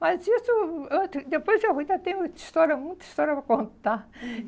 Mas isso, eu depois eu ainda tenho história muita história para contar.